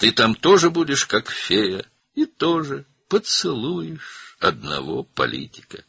Sən də orada pəri kimi olacaqsan və bir siyasətçini də öpəcəksən.